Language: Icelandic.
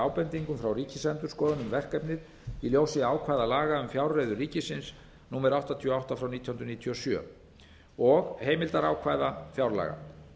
ábendingum frá ríkisendurskoðun um verkefnið í ljósi ákvæða laga um fjárreiður ríkisins númer áttatíu og átta nítján hundruð níutíu og sjö og heimildarákvæða fjárlaga